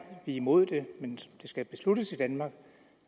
imod det men det skal besluttes i danmark